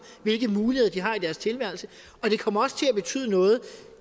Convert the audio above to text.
hvilke muligheder de har i deres tilværelse og det kommer også til at betyde noget